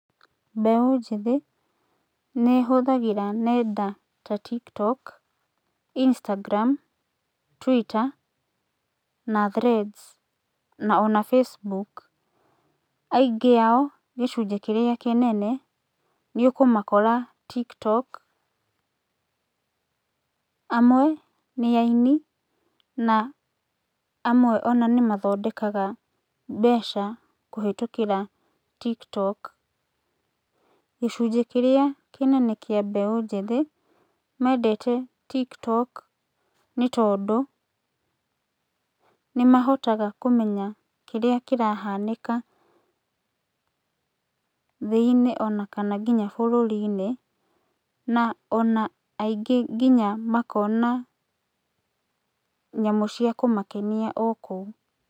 Mbeũ njĩthĩ, nĩhũthagĩra nenda ta TikTok, Instagram, Twitter, na Threads, na ona Facebook. Aingĩ ao, gĩcunjĩ kĩrĩa kĩnene, nĩ ũkũmakora TikTok, amwe, nĩ ainĩ, na amwe ona nĩmathondekaga kũhĩtũkĩra TikTok. Gicunjĩ kĩrĩa kĩnene kĩa mbeũ njĩthĩ, mendete TikTok nĩtondũ nĩmahotaga kũmenya kĩrĩa kĩrahanĩka thĩinĩ ona kana nginya bũrũrinĩ, na ona aingĩ nginya makona nyamũ cia kũmakenia o kũu.